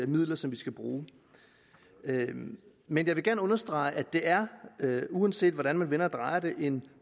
midler som vi skal bruge men jeg vil gerne understrege at det er uanset hvordan man vender og drejer det en